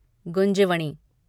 Gunjavani